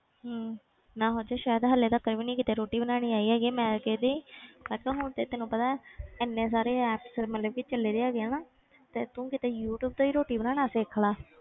ਹਮ ਮੈਂ ਸੋਚਿਆ ਸ਼ਾਇਦ ਹਾਲੇ ਤੀਕਰ ਵੀ ਨੀ ਕਿਤੇ ਰੋਟੀ ਬਣਾਉਣੀ ਆਈ ਹੈਗੀ ਮੈਂ ਕਹਿੰਦੀ ਮੈਂ ਕਿਹਾ ਹੁਣ ਤੇ ਤੈਨੂੰ ਪਤਾ ਹੈ ਇੰਨੇ ਸਾਰੇ apps ਮਤਲਬ ਕਿ ਚੱਲਦੇ ਹੈਗੇ ਆ ਨਾ ਤੇ ਤੂੰ ਕਿਤੇ ਯੂ ਟਿਊਬ ਤੇ ਹੀ ਰੋਟੀ ਬਣਾਉਣਾ ਸਿੱਖ ਲੈ,